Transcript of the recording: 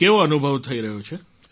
કેવો અનુભવ થઈ રહ્યો છે